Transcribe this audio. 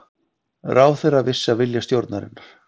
Ráðherra vissi af vilja stjórnarinnar